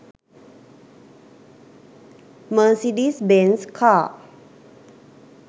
Mercedes benz car